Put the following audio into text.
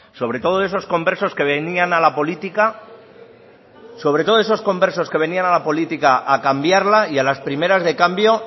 sobre todo de esos conversos que venían a la política sobre todo esos conversos que venían a la política a cambiarla y a las primeras de cambio